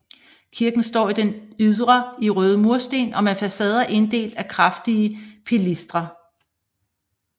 Kirken står i det ydre i røde mursten og med facader inddelt af kraftige pilastre